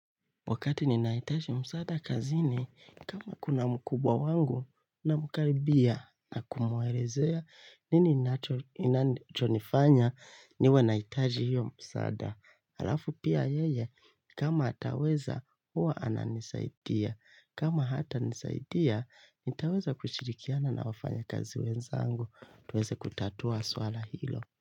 Wakati ninahitaji msaada kazini, kama kuna mkubwa wangu, nina mkaribia na kumuelezea nini ninachonifanya niwe nahitaji hiyo msaada. Halafu pia yeye, kama ataweza, huwa ananisaidia. Kama hata nisaidia, nitaweza kushirikiana na wafanya kazi wenzangu. Tuweze kutatua swala hilo.